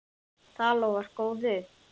Það lofar góðu.